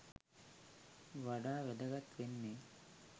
වඩා වැදගත් වෙන්නෙ.